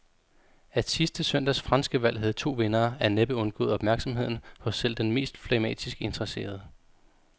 At sidste søndags franske valg havde to vindere, er næppe undgået opmærksomheden hos selv den mest flegmatisk interesserede.